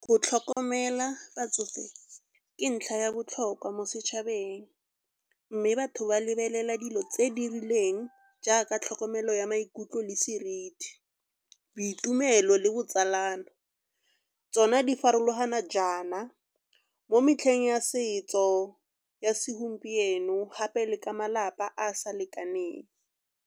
Go tlhokomela batsofe ke ntlha ya botlhokwa mo setšhabeng. Mme batho ba lebelela dilo tse di rileng jaaka tlhokomelo ya maikutlo le seriti. Boitumelo le botsalano tsona di farologana jaana mo metlheng ya setso ya segompieno gape le ka malapa a sa lekaneng.